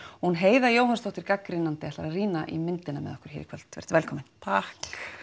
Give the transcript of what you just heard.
Heiða Jóhannsdóttir gagnrýnandi ætlar að rýna í myndina hérna með okkur í kvöld vertu velkomin takk